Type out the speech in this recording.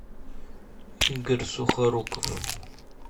игорь сухоруков